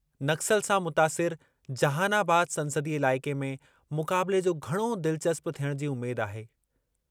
नक्सल सां मुतासिर जहानाबाद संसदीय इलाइक़े में मुक़ाबले जो घणो दिलचस्प थियणु जी उमेद आहे।